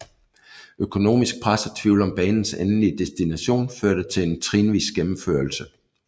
Økonomisk pres og tvivl om banens endelige destination førte til en trinvis gennemførelse